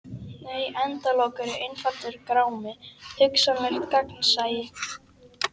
Nei endalok eru einfaldur grámi: hugsanlegt gagnsæi.